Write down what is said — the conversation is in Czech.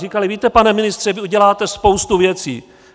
Říkali: Víte, pane ministře, vy uděláte spoustu věcí.